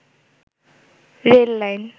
rail line